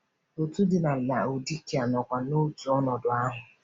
Otù dị na Laodikịa nọkwa n’otu ọnọdụ ahụ.